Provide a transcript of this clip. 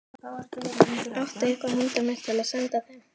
Áttu eitthvað handa mér til að senda þeim?